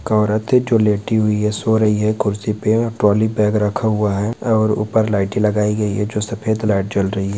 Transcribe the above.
एक औरते जो लेटी हुई है सो रही है कुर्सी पे ट्रॉली बैग रखा हुआ है और ऊपर लाइटे लगाई गईं है जो सफेद लाईट जल रही है।